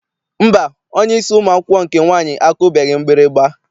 Mba, onyeisi ụmụ akwụkwọ nke nwaanyị akụbeghị mgbịrịgba.